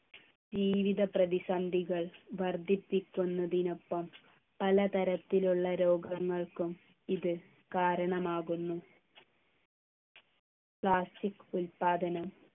ജീവിത പ്രതിസന്ധികൾ വർദ്ധിപ്പിക്കുന്നതിനൊപ്പം പലതരത്തിലുള്ള രോഗങ്ങൾക്കും ഇത് കാരണമാകുന്നു plastic ഉൽപാദനം